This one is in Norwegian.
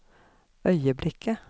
øyeblikket